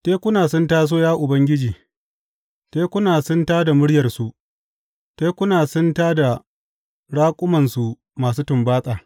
Tekuna sun taso, ya Ubangiji, tekuna sun ta da muryarsu; tekuna sun tā da ta raƙumansu masu tumbatsa.